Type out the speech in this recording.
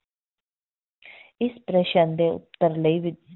ਇਸ ਪ੍ਰਸ਼ਨ ਦੇ ਉੱਤਰ ਲਈ ਵੀ,